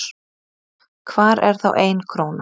Hvar er þá ein króna?